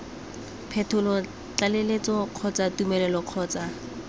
phetolo tlaleletso kgotsa tumelelo kgotsa